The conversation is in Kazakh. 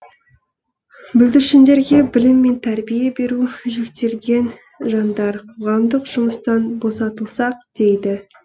бүлдіршіндерге білім мен тәрбие беру жүктелген жандар қоғамдық жұмыстан босатылсақ дейді